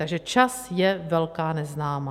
Takže čas je velká neznámá.